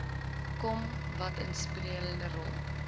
kom watinstrumentele rol